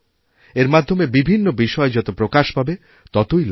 এর মাধ্যমে বিভিন্ন বিষয় যত প্রকাশ পাবে ততই লাভহবে